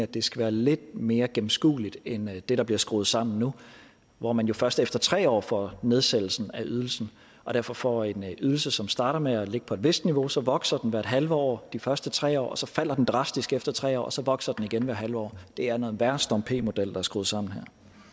det skal være lidt mere gennemskuelig end det der bliver skruet sammen nu hvor man jo først efter tre år får nedsættelse af ydelsen og derfor får en ydelse som starter med at ligge på et vist niveau så vokser den hvert en halv år de første tre år og så falder den drastisk efter tre år og så vokser den igen hvert en halv år det er en værre storm p model er skruet sammen